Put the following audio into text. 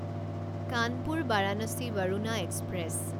Kanpur Varanasi Varuna express